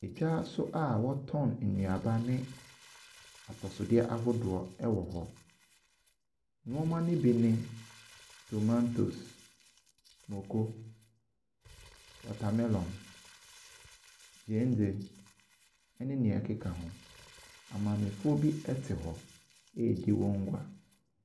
Edwa so a wɔtɔn nnuaba ne atosodeɛ ahodoɔ wɔ hɔ. Nnoɔma no bi ne tomatoes, moko, watamelɔn, gyeene ne nea ɛkeka ho. Amaamefoɔ bi te hɔ redi wɔn gua.